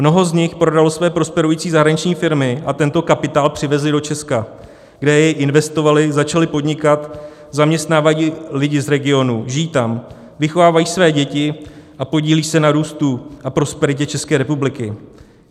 Mnoho z nich prodalo své prosperující zahraniční firmy a tento kapitál přivezli do Česka, kde jej investovali, začali podnikat, zaměstnávají lidi z regionu, žijí tam, vychovávají své děti a podílí se na růstu a prosperitě České republiky.